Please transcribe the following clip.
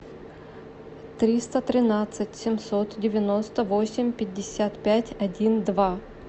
триста тринадцать семьсот девяносто восемь пятьдесят пять один два